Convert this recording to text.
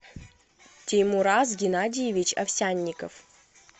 теймураз геннадиевич овсянников